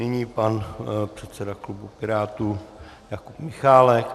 Nyní pan předseda klubu Pirátů Jakub Michálek.